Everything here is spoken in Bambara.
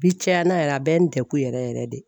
Bi caya na yɛrɛ a bɛ n degu yɛrɛ yɛrɛ yɛrɛ de.